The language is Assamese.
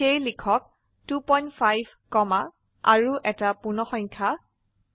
সেয়ে লিখক 25 কমা আৰু এটা পূৰ্ণসংখ্যা 3